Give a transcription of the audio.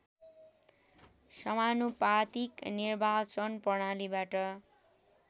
समानुपातिक निर्वाचन प्रणालीबाट